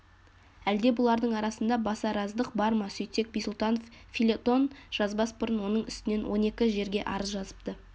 әлде бұлардың арасында басараздық бар ма сөйтсек бисұлтанов фельетон жазбас бұрын оның үстінен он екі жерге арыз жазыпты